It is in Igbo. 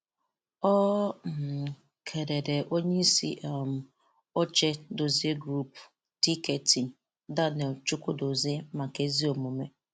Ọ um kèlèrè ónyéisi um óchè Dozzy Group, Dkt. Daniel Chukwudozie màkà ézí omume